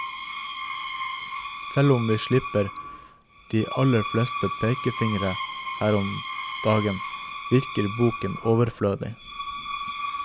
Selv om vi slipper de aller fleste pekefingre denne gangen, virker boken overflødig.